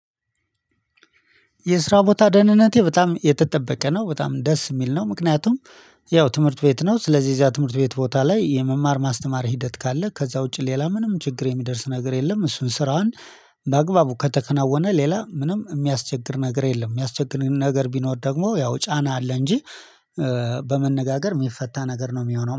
የስራ ቦታ ደህንነቴ በጣም የተጠበቀ ነው በጣም ደስ የሚል ነው ምክንያቱም ያው ትምህርት ቤት ነው ስለዚህ እዛ ትምህርት ቤት ቦታ ላይ የመማር ማስተማር ሂደት ካለ ከዛ ውጪ ሌላ ምንም ችግር የሚደርስ ነገር የለም እሱን ስራውን በአግባቡ ከተከናወነ ሌላ ምንም የሚያስቸግር ነገር የለም የሚያስቸግር ነገር ቢኖር ደግሞ ያው ጫና አለ እንጂ በመነጋገር የሚፈታ ነገር ነው የሚሆነው።